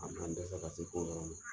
A bina n dɛsɛ ka se fɔ o yɔrɔ la?